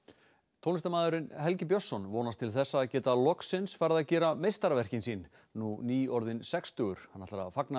tónlistarmaðurinn Helgi Björnsson vonast til þess að geta loksins farið að gera meistaraverkin sín nú nýorðinn sextugur hann ætlar að fagna